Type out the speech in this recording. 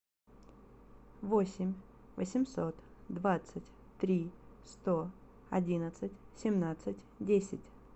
восемь восемьсот двадцать три сто одиннадцать семнадцать десять